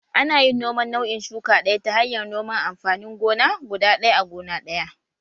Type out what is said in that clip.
Ana yin noman nau'in shuka ɗaya ta hanyar noman amfanin gona guda ɗaya a gona ɗaya